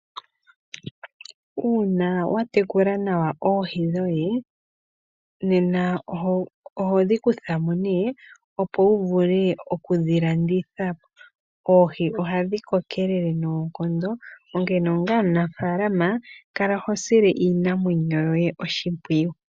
Uuna watekula nawa oohi dhoye nena ohodhikuthamo ne opo uvule okudhilandithapo. Oohi ohadhi kokelele noonkondo onkene onga omunafaalama kala hosile iinamwenyo yoye oshipwiyu.